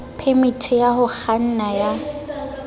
phemiti ya ho kganna ya